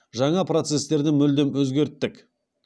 жаңа процестерді мүлдем өзгерттік